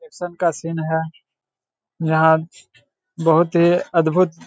action का scene है जहाँ बोहोत ही अद्भुत --